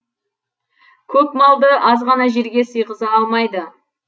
көп малды азғана жерге сиғыза алмайды